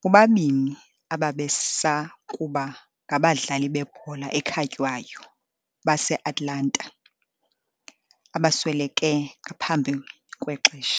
bobabini ababesakuba ngabadlali bebhola ekhatywayo base-Atalanta abasweleke ngaphambi kwexesha.